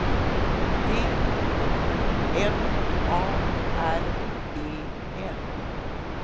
D O M A R E N